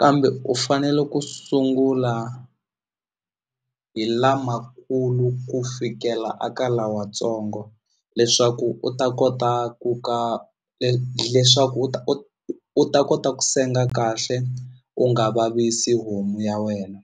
kambe u fanele ku sungula hi lamakulu ku fikela a ka lawatsongo leswaku u ta kota ku ka leswaku u ta kota ku senga kahle u nga vavisi homu ya wena.